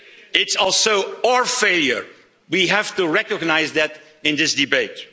It's also our failure we have to recognise that in this debate.